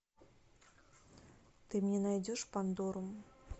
ты мне найдешь пандору